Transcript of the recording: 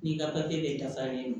N'i ka papiye bɛɛ dafalen don